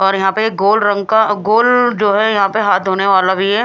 और यहां पे एक गोल रंग का गोल जो है यहां पे हाथ धोने वाला भी है।